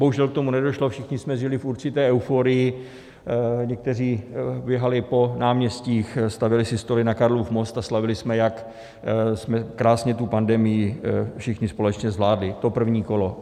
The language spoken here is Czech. Bohužel k tomu nedošlo, všichni jsme žili v určité euforii, někteří běhali po náměstích, stavěli si stoly na Karlův most a slavili jsme, jak jsme krásně tu pandemii všichni společně zvládli, to první kolo.